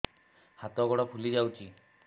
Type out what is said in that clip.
ହାତ ଗୋଡ଼ ଫୁଲି ଯାଉଛି